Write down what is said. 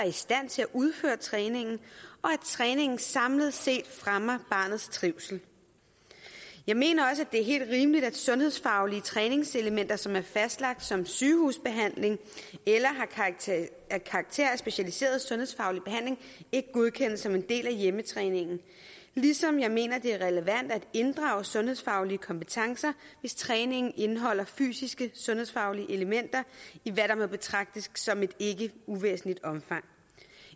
i stand til at udføre træningen og at træningen samlet set fremmer barnets trivsel jeg mener også det er helt rimeligt at sundhedsfaglige træningselementer som er fastlagt som sygehusbehandling eller har karakter af specialiseret sundhedsfaglig behandling ikke godkendes som en del af hjemmetræningen ligesom jeg mener det er relevant at inddrage sundhedsfaglige kompetencer hvis træningen indeholder fysisk sundhedsfaglige elementer i hvad der må betragtes som et ikke uvæsentligt omfang